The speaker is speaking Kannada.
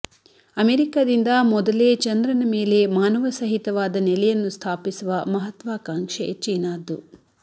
ಅಮೆರಿಕಾದಿಂದ ಮೊದಲೇ ಚಂದ್ರನ ಮೇಲೆ ಮಾನವ ಸಹಿತವಾದ ನೆಲೆಯನ್ನು ಸ್ಥಾಪಿಸುವ ಮಹತ್ತ್ವಾಕಾಂಕ್ಷೆ ಚೀನಾದ್ದು